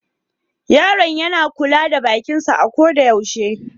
Yaron yana kula da bakin sa a ko da yaushe.